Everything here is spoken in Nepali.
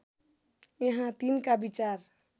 यहाँ तिनका विचार